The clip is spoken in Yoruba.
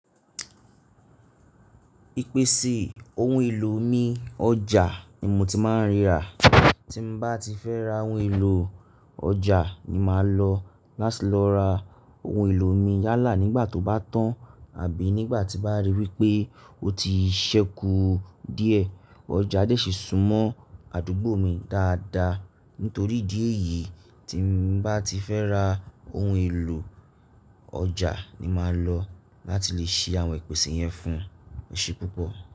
Ìpèsè ohun èlò ní ọjà ni mo ti máa ń ríra. Tí ń bá ti fẹ́ ra ohun èlò, ọjà ni máa lọ láti lọ ra ohun èlò mi yálà nígbà tó bá tán àbí nígbà tí bá rí wípé ó ti ṣẹ́kù ọjà dẹ̀ sì su mo àdúgbò mi dáadáa. Nítorí ìdí èyí, tí ń bá ti fẹ́ ra ohun èlò, ọjà ni máa lọ láti lè ṣe àwọn ìpèsè yẹn fún eṣẹ́ púpọ̀.